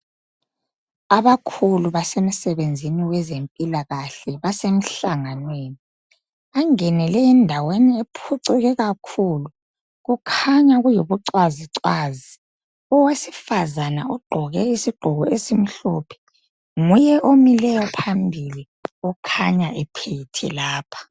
Abakhulu basemsebenzini wezempilakahle basemhlanganweni bangenele endaweni ephucuke kakhulu kukhanya kuyibucwazicwazi owesifazana ugqoke isigqoko esimhlophe nguye omileyo phambili okhanya ephethe lapha.